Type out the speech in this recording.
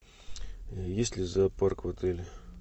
есть ли зоопарк в отеле